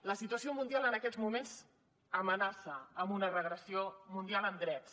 la situació mundial en aquests moments amenaça amb una regressió mundial en drets